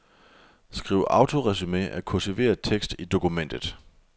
Skriv autoresumé af kursiveret tekst i dokumentet.